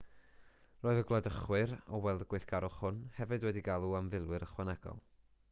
roedd y gwladychwyr o weld y gweithgarwch hwn hefyd wedi galw am filwyr ychwanegol